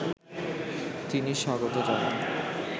তিনি স্বাগত জানান